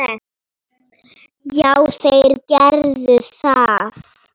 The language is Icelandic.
Já, þeir gerðu það.